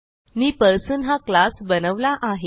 मी person हा class बनवला आहे